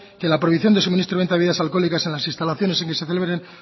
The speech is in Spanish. que la prohibición de suministro y venta de bebidas alcohólicas en las instalaciones en las que celebren